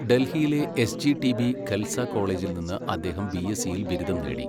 ഡൽഹിയിലെ എസ്ജിടിബി ഖൽസ കോളേജിൽ നിന്ന് അദ്ദേഹം ബിഎസ്സിയിൽ ബിരുദം നേടി.